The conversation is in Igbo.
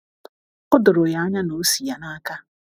O doro ya anya na o si ya n’aka.